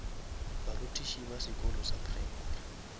barutiši ba sekolo sa primary